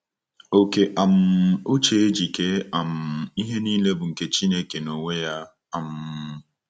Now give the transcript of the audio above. Oke um uche e ji kee um ihe nile bụ nke Chineke n’onwe ya. um